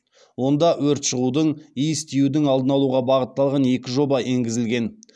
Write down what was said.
онда өрт шығудың иіс тиюдің алдын алуға бағытталған екі жоба енгізілген